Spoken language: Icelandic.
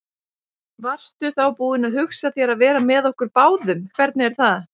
Varstu þá búin að hugsa þér að vera með okkur báðum, hvernig er það?